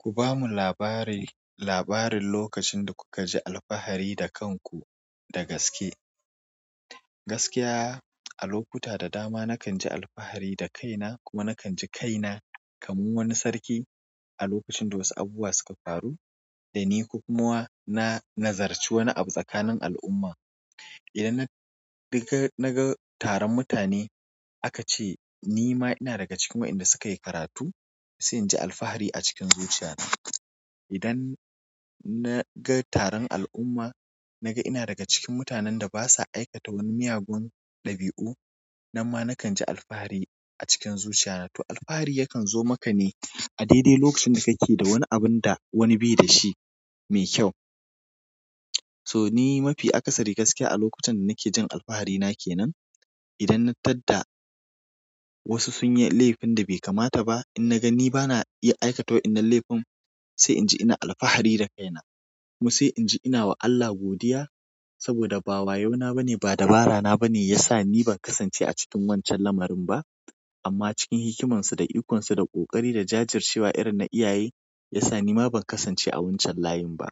Ku bamu labari, labarin lokacin da kuka ji alfahari da kanku da gaske. Gaskiya, a lokuta da dama nakan ji alfahari da kaina kuma nakan ji kaina kamar wani sarki a lokacin da wasu abubuwa suka faru dani, ko kumawa na nazarci wani abu tsakanin al'umma. Idan na naga naga taron mutane aka ce nima ina daga cikin waɗanda suka yi karatu, sai in ji alfahari a cikin zuciya na. Idan naga taron al'umma naga ina daga cikin mutanen da basa aikata wani miyagun ɗabi'u, nan ma nakan ji alfahari a cikin zuciya na. To alfahari yakan zo maka ne a daidai lokacin da kake da wani abun da wani bai dashi mai kyau. So ni mafi akasari gaskiya a lokutan da nake jin alfahari na kenan, idan na tadda wasu sun yi laifin da bai kamata ba, in naga ni bana iya aikata wa'yannan laifin sai inji ina alfahari da kaina. Kuma sai in ji ina wa Allah godiya saboda ba wayauna bane ba dabara na bane yasa ni ban kasance a cikin wancan lamarin ba. Amma cikin hikimansu da ikonsu da ƙoƙari da jajircewa irin na iyaye yasa nima ban kasance a wancan layin ba.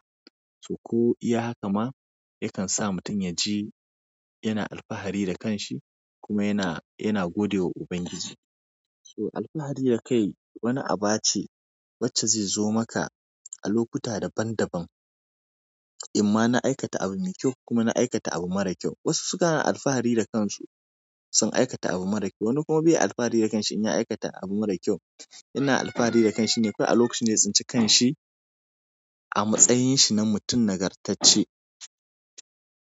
To ko iya haka ma yakan sa mutum ya ji yana alfahari da kanshi kuma yana, yana godewa Ubangiji. So alfahari da kai wani aba ce wacce zai zo maka a lokuta daban-daban. Inma na aikata abu mai kyau, kuma na aikata abu mara kyau. Wasu sukan alfahari da kansu sun aikata abu mara kyau, wani kuma bai alfahari da kanshi in ya aikata abu mara kyau. Ina alfahari da kanshi ne kawai a lokacin da ya tsinci kanshi, a matsayin shi na mutum nagartacce.